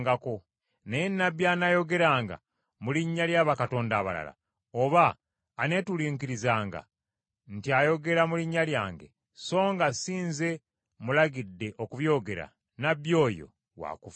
Naye nnabbi anaayogeranga mu linnya lya bakatonda abalala, oba aneetulinkirizanga nti ayogera mu linnya lyange, songa si Nze mmulagidde okubyogera, nnabbi oyo wa kufa.”